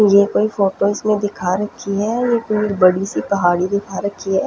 ये कोई फोटोज़ में दिखा रखी है ये कोई बड़ी सी पहाड़ी दिखा रखी है।